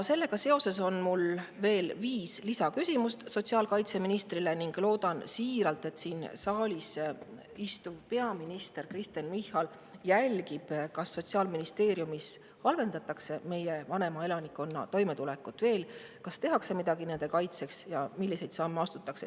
Sellega seoses on mul viis küsimust sotsiaalkaitseministrile ning loodan siiralt, et siin saalis istuv peaminister Kristen Michal jälgib, kas Sotsiaalministeeriumis halvendatakse meie vanema elanikkonna toimetulekut veel, kas tehakse midagi nende kaitseks, milliseid samme astutakse.